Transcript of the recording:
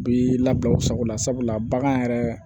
Bi labɛn u sagola sabula bagan yɛrɛ